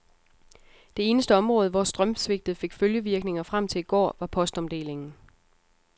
Det eneste område, hvor strømsvigtet fik følgevirkninger frem til i går, var postomdelingen.